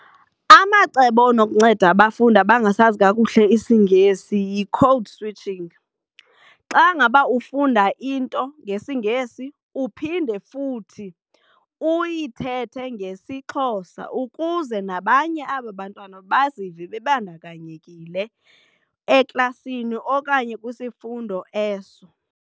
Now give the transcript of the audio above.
Amacebo anokunceda abafundi abangasazi kakuhle isiNgesi yi-code switching. Xa ngaba ufunda into ngesiNgesi uphinde futhi uyithethe ngesiXhosa ukuze nabanye aba bantwana bazive bebandakanyekile eklasini okanye kwisifundo eso.